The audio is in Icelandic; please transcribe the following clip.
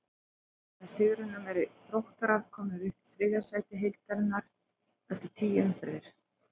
Með sigrinum eru Þróttarar komnir upp í þriðja sæti deildarinnar eftir tíu umferðir.